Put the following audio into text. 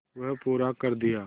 वह पूरा कर दिया